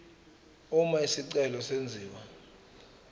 uma isicelo senziwa